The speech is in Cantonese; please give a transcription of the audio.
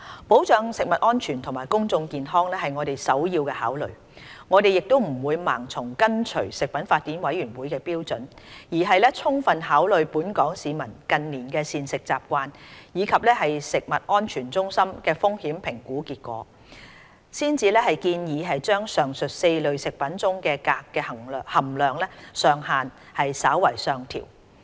保障食物安全和公眾健康是我們的首要考慮，我們不會盲目跟隨食品法典委員會的標準，而是充分考慮本港市民近年的膳食習慣，以及食安中心的風險評估結果，才建議將上述4類食物中鎘的含量上限稍為上調。